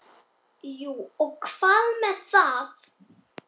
Jú og hvað með það!